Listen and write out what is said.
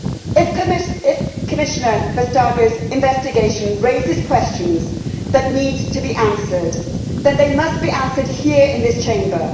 If Commissioner Vestagerʼs investigation raises questions that need to be answered, then they must be answered here in this Chamber.